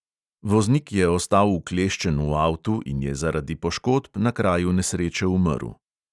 Voznik je ostal ukleščen v avtu in je zaradi poškodb na kraju nesreče umrl.